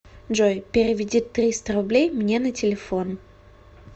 джой переведи триста рублей мне на телефон